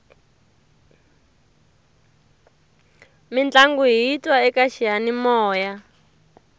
mintlangu hiyi twa eka xiyanimoya